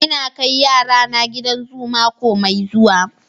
Ina kai yarana gidan zu mako mai zuwa.